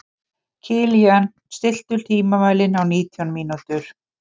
Kilían, stilltu tímamælinn á nítján mínútur.